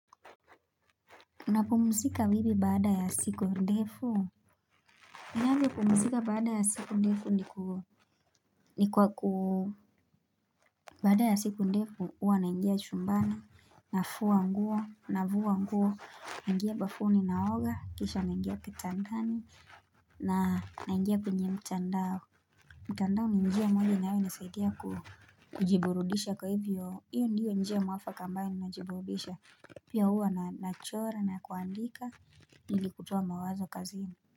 Unapumzika wivi baada ya siku ndefu? Ninavyo pumzika baada ya siku ndefu ni kwa ku Baada ya siku ndefu huwa naingia chumbani nafua nguo, navua nguo, naingia bafuni ninaoga, kisha naingia kitandani na naingia kwenye mtandao mtandao ni njia moja inayo nisaidia kujiburudisha kwa hivyo hiyo ndiyo njia mwafaka ambayo ninajiburudisha pia huwa nachora na kuandika ili kutoa mawazo kazi.